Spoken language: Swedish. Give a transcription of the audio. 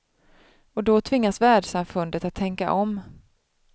Och då tvingas världssamfundet att tänka om.